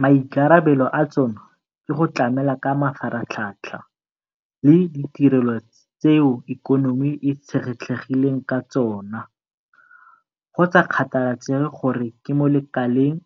Maikarabelo a tsona ke go tlamela ka mafaratlhatlha le ditirelo tseo ikonomi e itshetlegileng ka tsona, go sa kgathalesege gore ke mo lekaleng